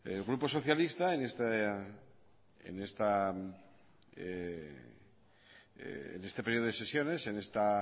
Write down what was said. el grupo socialista en este periodo de sesiones en esta